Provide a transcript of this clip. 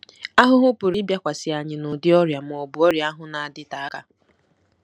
Ahụhụ pụrụ ịbịakwasị anyị n'ụdị ọrịa ma ọ bụ ọrịa ahụ na-adịte aka.